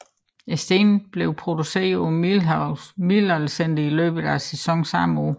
Stenene var blevet produceret på Middelaldercentret i løbet af sæsonen samme år